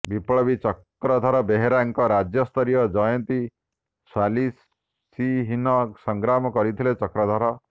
ବିପ୍ଳବୀ ଚକ୍ରଧର ବେହେରାଙ୍କ ରାଜ୍ୟସ୍ତରୀୟ ଜୟନ୍ତୀ ସାଲିସ୍ବିହୀନ ସଂଗ୍ରାମ କରିଥିଲେ ଚକ୍ରଧର